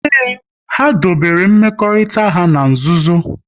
Ee, ha dobere mmekọrịta ha n'nzuzo